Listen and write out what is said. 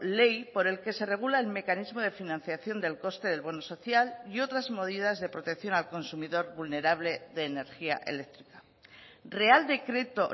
ley por el que se regula el mecanismo de financiación del coste del bono social y otras medidas de protección al consumidor vulnerable de energía eléctrica real decreto